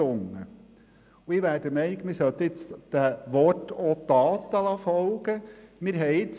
Ich bin der Meinung, dass man jetzt den Worten auch Taten folgen lassen sollte.